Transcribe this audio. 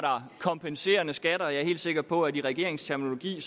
kompenserende skatter jeg er helt sikker på at i regeringens terminologi